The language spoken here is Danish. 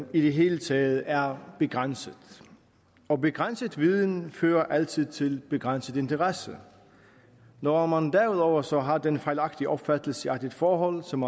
i det hele taget er begrænset og begrænset viden fører altid til begrænset interesse når man derudover så har den fejlagtige opfattelse at et forhold som